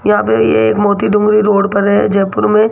यहां पे ये एक मोती डूंगरी रोड पर है जयपुर में--